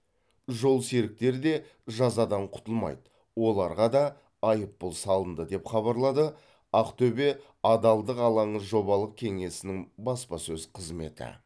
жолсеріктер де жазадан құтылмайды оларға да айыппұл салынды деп хабарлады ақтөбе адалдық алаңы жобалық кеңесінің баспасөз қызметі